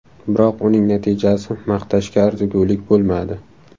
Biroq uning natijasi maqtashga arzigulik bo‘lmadi.